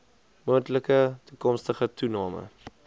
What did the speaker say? moontlike toekomstige toename